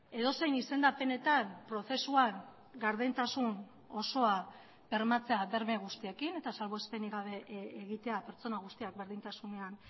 edozein izendapenetan prozesuan gardentasun osoa bermatzea berme guztiekin eta salbuespenik gabe egitea pertsona guztiak berdintasunean